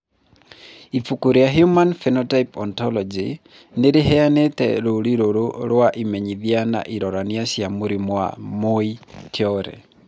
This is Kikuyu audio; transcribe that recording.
Ibuku rĩa The Human Phenotype Ontology nĩ rĩheanĩte rũũri rũrũ rwa imenyithia na ironania cia mũrimũ wa Muir Torre.